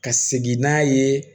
Ka segin n'a ye